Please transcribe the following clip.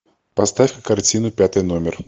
поставь картину пятый номер